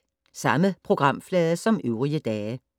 Samme programflade som øvrige dage